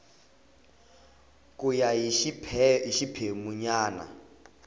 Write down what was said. ku ya hi xiphemu nyana